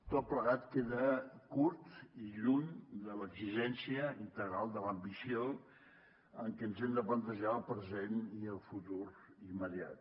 tot plegat queda curt i lluny de l’exigència integral de l’ambició amb què ens hem de plantejar el present i el futur immediat